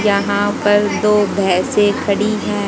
यहां पर दो भैंसे खड़ी है।